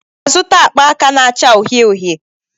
Ị ga-azụta akpa aka na-acha uhie uhie?